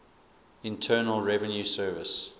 internal revenue service